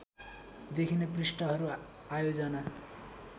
देखिने पृष्ठहरू आयोजना